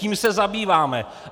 Tím se zabýváme!